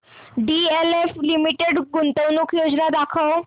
DLF limited गुंतवणूक योजना दाखव